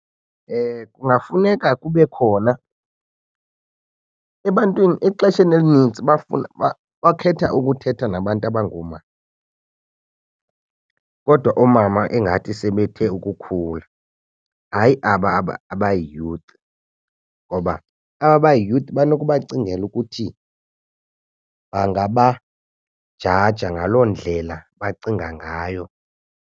Kungafuneka kube khona ebantwini exesheni elinintsi bakhetha ukuthetha nabantu abangoomama. Kodwa oomama ingathi sebethe ukukhula, hayi aba abayi-youth ngoba aba bayi-youth banokubacingela ukuthi bangabajaja ngaloo ndlela bacinga ngayo.